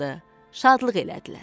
şadlıq elədilər.